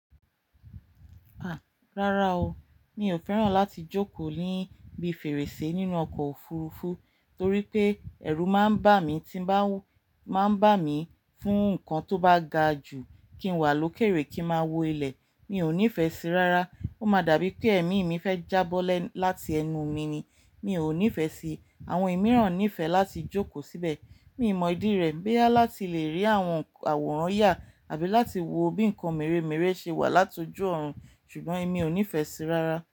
A! Rárá o, mi ò fẹ́ràn láti jókòó níbi fèrèsé nínú ọkọ̀ òfurufú torí pé ẹ̀rù máa ń bà mí tí ń bá, máa ń bà mí fún nǹkan tó bá ga jù kí n wà lókèèrè kí ń máa wo ilẹ̀. Mi ò nífẹ̀ẹ́ sí i rárá. Ó máa dàbí pé èémí mi fẹ́ jábọ́lẹ́ láti ẹnu mi ni, mi ò nífẹ̀ẹ́ sí i. Àwọn ìmìíràn nífẹ̀ẹ́ láti jókòó síbẹ̀. Mi on0 mọ ìdí rẹ̀, boya láti lè rí àwọn àwòrán ya àbí láti wo bí nǹkan mèremère ṣe wà láti ojú ọ̀run. Ṣùgbọ́n èmi ò nífẹ̀ẹ́ sí i rárá.